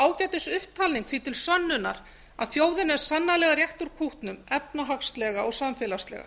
ekki bara ágætisupptalning því til sönnunar að þjóðin er sannarlega réttur punktur efnahagslega og samfélagslega